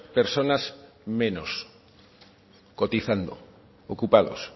personas menos cotizando ocupados